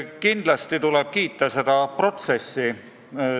Kindlasti tuleb kiita seda protsessi.